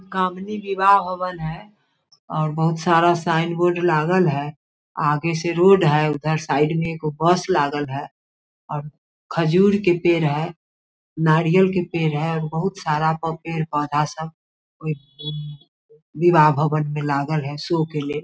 गामिनी विवाह भवन हेय और बहुत सारा साइन बोर्ड लागल हेय आगे से रोड हेय उधर साइड में एगो बस लागल हेय और खजूर के पेड़ हेय नारियल के पेड़ हेय बहुत सारा प पेड़-पौधा सब ओय विवाह भवन में लागल हेय शौ के लेल।